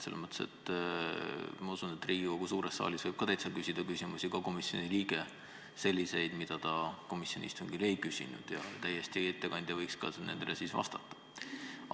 Ma usun, et Riigikogu suures saalis võib komisjoni liige küsida ka selliseid küsimusi, mida ta komisjoni istungil ei küsinud, ja ettekandja võiks nendele ka vastata.